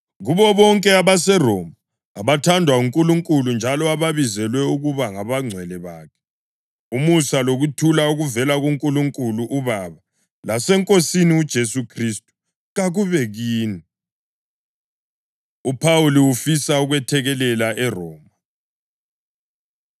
Kubo bonke abaseRoma abathandwa nguNkulunkulu njalo ababizelwe ukuba ngabangcwele bakhe: Umusa lokuthula okuvela kuNkulunkulu uBaba laseNkosini uJesu Khristu kakube kini. UPhawuli Ufisa Ukwethekelela ERoma